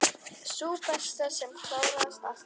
Sú besta, sem klárast alltaf.